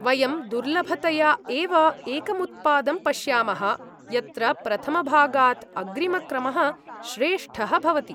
वयं दुर्लभतया एव एकमुत्पादं पश्यामः यत्र प्रथमभागात् अग्रिमक्रमः श्रेष्ठः भवति।